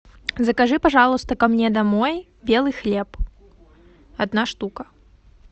закажи пожалуйста ко мне домой белый хлеб одна штука